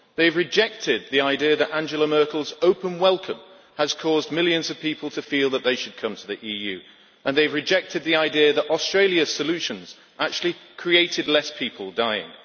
They have rejected the idea that Angela Merkel's open welcome has caused millions of people to feel that they should come to the EU and they have rejected the idea that Australia's solutions have meant fewer people dying.